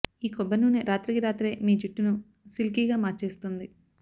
ఈ కొబ్బరి నూనె రాత్రికి రాత్రే మీ జుట్టును సిల్కీగా మార్చేస్తుంది